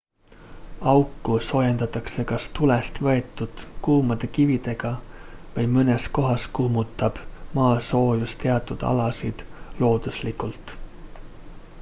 auku soojendatakse kas tulest võetud kuumade kividega või mõnes kohas kuumutab maasoojus teatud alasid looduslikult